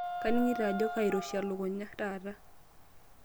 Kaningito ajo kairoshi elukunya taata.